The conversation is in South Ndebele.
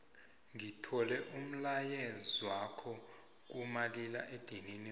ngithole umlayezwakho kumaliledinini wami